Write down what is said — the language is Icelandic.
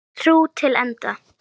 Trú til enda.